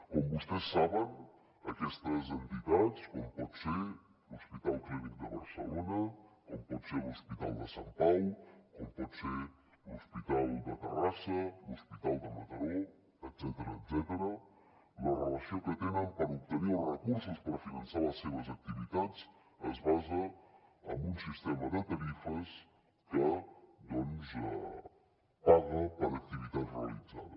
com vostès saben aquestes entitats com pot ser l’hospital clínic de barcelona com pot ser l’hospital de sant pau com pot ser l’hospital de terrassa l’hospital de mataró etcètera la relació que tenen per obtenir els recursos per finançar les seves activitats es basa en un sistema de tarifes que doncs paga per activitat realitzada